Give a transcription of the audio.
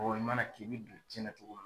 i mana k'i be don diɲɛna cogo min